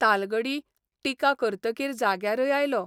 तालगडी टिका करतकीर जाग्यारय आयलो.